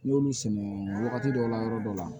N'i y'olu sɛgɛn wagati dɔw la yɔrɔ dɔw la